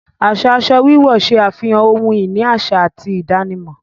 Aṣa aṣọ wíwọ̀ ṣẹ afihàn ọ̀hun-ini aṣa àti ìdànímọ̀